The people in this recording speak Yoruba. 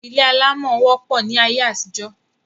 Ilé alámọ̀ wopọ̀ ní ayé àtijọ́